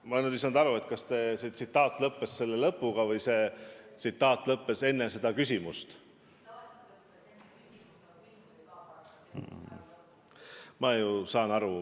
Ma nüüd ei saanud aru, kas see tsitaat lõppes selle küsimusega või tsitaat lõppes enne seda küsimust.